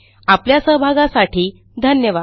आपल्या सहभागासाठी धन्यवाद